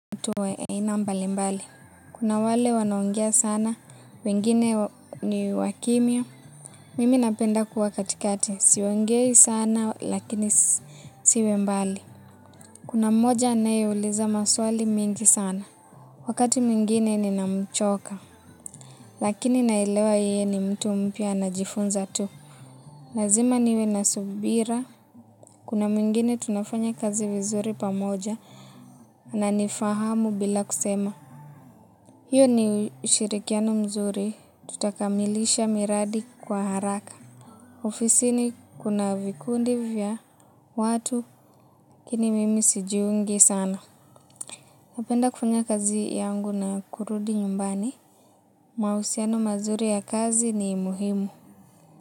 Watu wa aina mbalimbali. Kuna wale wanao ongea sana, wengine ni wakimya Mimi napenda kuwa katikati, siongei sana lakini isiwe mbali. Kuna mmoja anayeuliza maswali mengi sana. Wakati mwingine ninamchoka. Lakini naelewa yeye ni mtu mpya anajifunza tu. Lazima niwe na subira Kuna mwingine tunafanya kazi vizuri pamoja. Ananifahamu bila kusema. Hiyo ni ushirikiano mzuri, tutakamilisha miradi kwa haraka. Ofisini kuna vikundi vya watu lakini mimi sijiungi sana. Napenda kufanya kazi yangu na kurudi nyumbani. Mahusiano mazuri ya kazi ni muhimu.